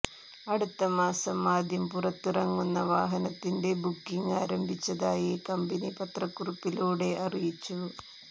അടുത്ത മാസം ആദ്യം പുറത്തിറങ്ങുന്ന വാഹനത്തിന്റെ ബുക്കിങ് ആരംഭിച്ചതായി കമ്പനി പത്രക്കുറിപ്പിലൂടെ അറിയിച്ചു